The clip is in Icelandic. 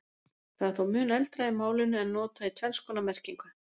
það er þó mun eldra í málinu en notað í tvenns konar merkingu